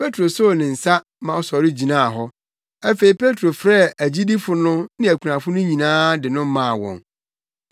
Petro soo ne nsa ma ɔsɔre gyinaa hɔ. Afei Petro frɛɛ agyidifo no ne akunafo no nyinaa de no maa wɔn.